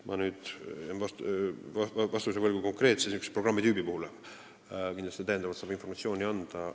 Ma jään vastuse võlgu konkreetse programmitüübi kohta, täiendavalt saab kindlasti informatsiooni anda.